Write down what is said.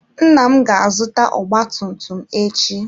Nna m ga-azụta ọgba tum tum echi.